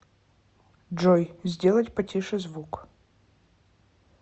джой сделать потише звук